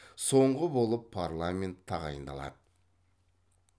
соңғы болып парламент тағайындалады